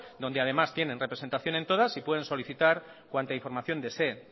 donde además tienen representación en todas y pueden solicitar cuanta información deseen